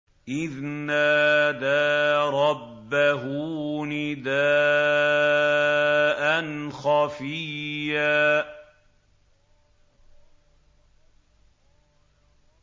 إِذْ نَادَىٰ رَبَّهُ نِدَاءً خَفِيًّا